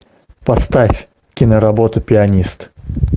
поставь киноработу пианист